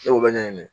Ne b'o bɛɛ ɲɛɲini